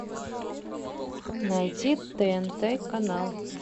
найти тнт канал